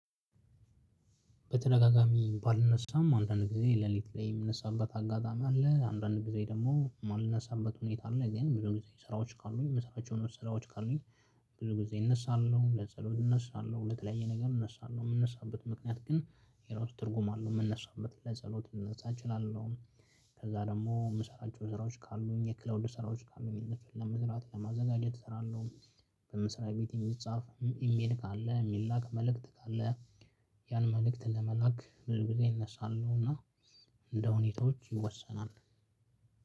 በተደጋጋሚ ባልነሳም አንዳንድ ጊዜ ሌሊት ላይ የምነሳበት አጋጣሚ አለ። አንዳንድ ጊዜ ደግሞ ማልነሳበት ሁኔታ አለ። እኔ ብዙ ጊዜ ስራዎች ካሉኝ የምሰራቸው ስራዎች ካሉኝ ብዙ ጊዜ እነሳለሁ። ለጸሎት እነሳለሁ። ለተለያየ ነገር እነሳለሁ። የምንነሳበት ምክንያት ግን የራሱ ትርጉም አለው የምንነሳበት። ለጸሎት ልነሳ እችላለሁ። ከዛ ደግሞ የምሰራቸው ስራዎች ካሉኝ የክላውድ ስራዎች ካሉኝ ለመስራት ለማዘጋጀት እሰራለሁ። በመስሪያ ቤት የሚጻፍ ኢሜል ካለ የሚላክ መልእክት ካለ ያን መልእክት ለመላክ ብዙ ጊዜ እነሳለሁ። እና እንደሁኔታዎች ይወሰናል።